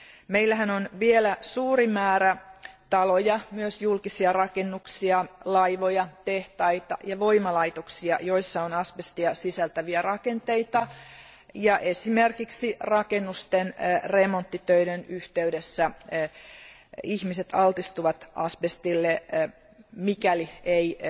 Meillähän on vielä suuri määrä taloja, myös julkisia rakennuksia, laivoja, tehtaita ja voimalaitoksia, joissa on asbestia sisältäviä rakenteita, ja esimerkiksi rakennusten remonttitöiden yhteydessä ihmiset altistuvat asbestille, mikäli ei